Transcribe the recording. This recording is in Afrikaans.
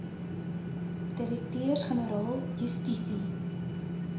direkteurs generaal justisie